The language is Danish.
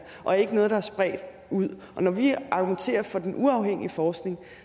og ikke noget der er spredt ud når vi argumenterer for den uafhængige forskning